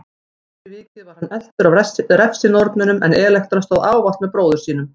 Fyrir vikið var hann eltur af refsinornunum en Elektra stóð ávallt með bróður sínum.